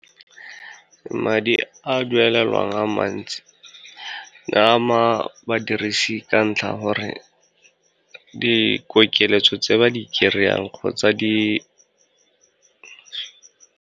Madi a duelelwang a mantsi, ne ama badirisi ka ntlha gore, dikokeletso tse ba di kry-ang kgotsa di.